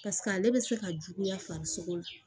Paseke ale bɛ se ka juguya farisogo la